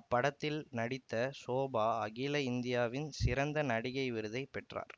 அப்படத்தில் நடித்த ஷோபா அகில இந்தியாவின் சிறந்த நடிகை விருதை பெற்றார்